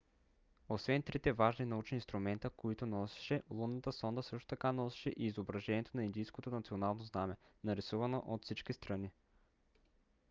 освен трите важни научни инструмента които носеше лунната сонда също така носеше и изображението на индийското национално знаме нарисувано от всички страни